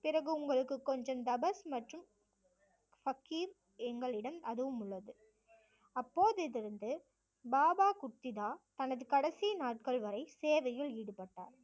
பிறகு உங்களுக்கு கொஞ்சம் தபஸ் மற்றும் ஃபகீர் எங்களிடம் அதுவும் உள்ளது அப்போது இருந்து பாபா குத்திதா தனது கடைசி நாட்கள் வரை சேவையில் ஈடுபட்டார்